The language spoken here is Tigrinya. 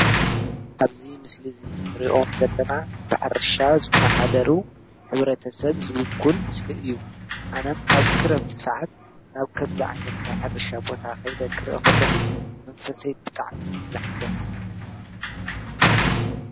ኣብዚ ምስሊ እዚ ንሪኦም ዘለና ብሕርሻ ዝመሓደሩ ሕብረተሰብ ዝዉክል ምስሊ እዪ ።ኣነ ኣብ ክረምቲ ሰዓት ናብ ከምዚ ዓይነት ናይ ሕርሻ ቦታ ከይደ ክርኢ ከለኹ መንፈሰይ ብጣዕሚ እዪ ዝሕደስ ።